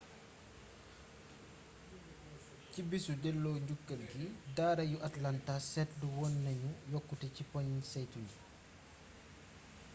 ci bisu delloo njukkal gi daara yu atlanta seetlu woon nañu yokkute ci poñi saytu gi